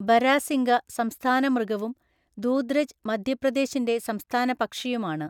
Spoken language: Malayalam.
ബരാസിംഗ സംസ്ഥാന മൃഗവും ദൂദ്രജ് മധ്യപ്രദേശിന്റെ സംസ്ഥാന പക്ഷിയുമാണ്.